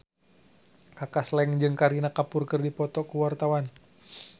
Kaka Slank jeung Kareena Kapoor keur dipoto ku wartawan